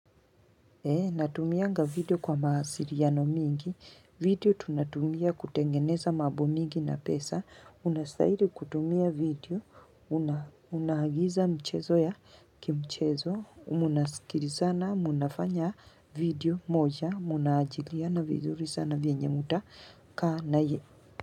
Natumianga video kwa mawasiliano mingi. Video tunatumia kutengeneza mambo mingi na pesa. Unastahili kutumia video. Unaagiza mchezo ya kimchezo. Mnasikilizana. Mnafanya video moja. Mnajiliana vizuri sana vyenye mta kaa naye.